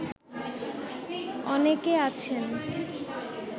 অনেকে আছেন